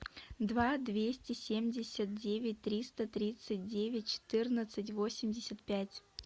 два двести семьдесят девять триста тридцать девять четырнадцать восемьдесят пять